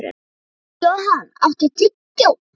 Johan, áttu tyggjó?